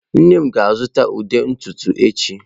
Nne m ga-azụta ude ntutu echi.